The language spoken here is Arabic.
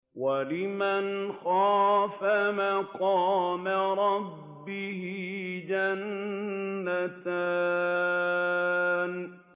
وَلِمَنْ خَافَ مَقَامَ رَبِّهِ جَنَّتَانِ